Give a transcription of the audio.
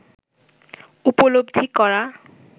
উপলব্ধি করা